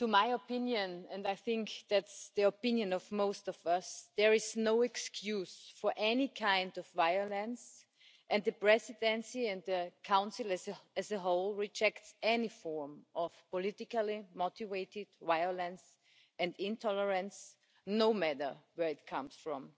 in my opinion and I think it is the opinion of most of us there is no excuse for any kind of violence and the Presidency, and the Council as a whole, rejects any form of politically motivated violence and intolerance, no matter where it comes from.